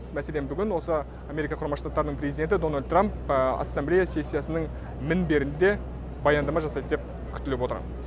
мәселен бүгін осы америка құрама штаттарының президенті дональд трамп ассамблея сессиясының мінберінде баяндама жасайды деп күтіліп отыр